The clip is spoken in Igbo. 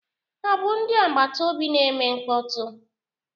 Ha bụ ndị agbata obi na-eme mkpọtụ?